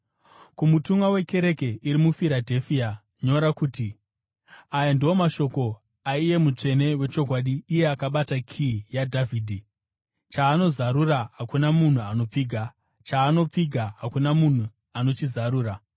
“Kumutumwa wekereke iri muFiradherifia nyora kuti: Aya ndiwo mashoko aiye mutsvene wechokwadi, iye akabata kiyi yaDhavhidhi. Chaanozarura hakuna munhu anopfiga, chaanopfiga hakuna munhu anochizarura.